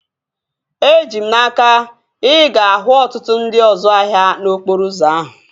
Eji m n'aka, ị ga-ahụ ọtụtụ ndị ọzu ahịa n'okporo ụzọ ahụ